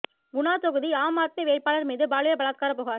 குனா தொகுதி ஆம் ஆத்மி வேட்பாளர் மீது பாலியல் பலாத்காரப் புகார்